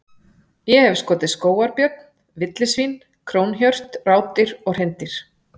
Ég hef skotið skógarbjörn, villisvín, krónhjört, rádýr og hreindýr.